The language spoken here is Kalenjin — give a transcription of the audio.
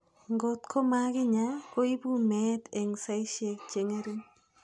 Ngotko makinyaa, koipu meet eng' saisyek che ng'ering'.